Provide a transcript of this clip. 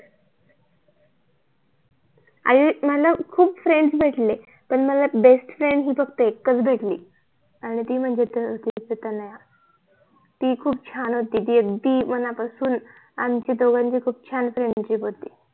आणि मला खूप FRIENDS भेटले पण मला BEST FRIEND फक्त एकच भेटली आणि ती म्हणजे ती फक्त तनया ती खूप छान होती ती अगदी मनापसून आमच्या दोघांची खूप छान FRIENDSHIP होती